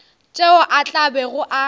tšeo a tla bego a